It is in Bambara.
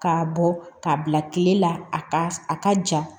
K'a bɔ k'a bila kile la a ka a ka ja